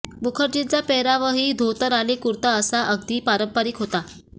मुखर्जींचा पेहरावही धोतर आणि कुर्ता असा अगदी पारंपारीक होता